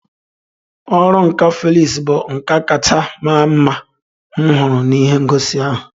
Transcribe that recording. Ọrụ nka Felix bụ nka kacha mara mma m hụrụ n'ihe ngosi ahụ